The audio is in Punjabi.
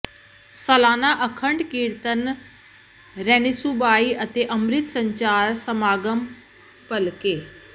ਸਾਲਾਨਾ ਅਖੰਡ ਕੀਰਤਨ ਰੈਣਿਸੁਬਾਈ ਅਤੇ ਅੰਮਿ੍ਤ ਸੰਚਾਰ ਸਮਾਗਮ ਭਲਕੇ